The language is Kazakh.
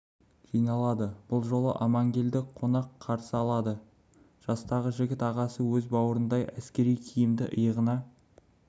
жиналады бұл жолы амангелді қонақ қарсы алады жастағы жігіт ағасы өз бауырларындай әскери киімді иығына